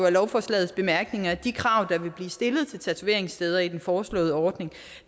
af lovforslagets bemærkninger at de krav der vil blive stillet til tatoveringssteder i den foreslåede ordning